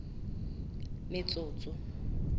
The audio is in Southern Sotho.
metsotso